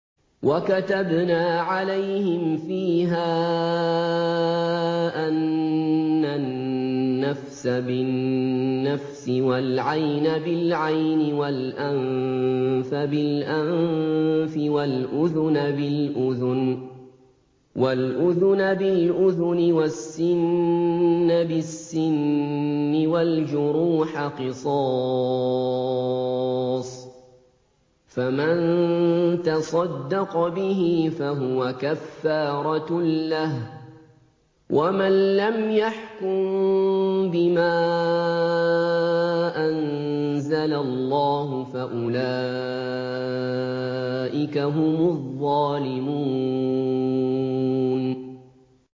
وَكَتَبْنَا عَلَيْهِمْ فِيهَا أَنَّ النَّفْسَ بِالنَّفْسِ وَالْعَيْنَ بِالْعَيْنِ وَالْأَنفَ بِالْأَنفِ وَالْأُذُنَ بِالْأُذُنِ وَالسِّنَّ بِالسِّنِّ وَالْجُرُوحَ قِصَاصٌ ۚ فَمَن تَصَدَّقَ بِهِ فَهُوَ كَفَّارَةٌ لَّهُ ۚ وَمَن لَّمْ يَحْكُم بِمَا أَنزَلَ اللَّهُ فَأُولَٰئِكَ هُمُ الظَّالِمُونَ